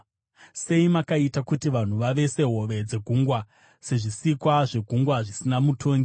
Sei makaita kuti vanhu vave sehove dzegungwa, sezvisikwa zvegungwa zvisina mutongi.